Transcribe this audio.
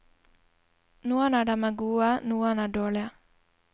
Noen av dem er gode, noen er dårlige.